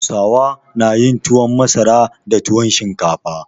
Hausawa na yin tuwon masara da tuwon shinkafa.